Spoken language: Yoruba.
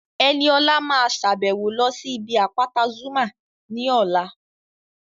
Ẹniọlá máa sàbẹ̀wo lọ sí ibi àpáta Zuma ní ọ̀la